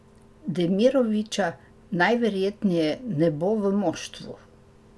Demiroviča najverjetneje ne bo v moštvu.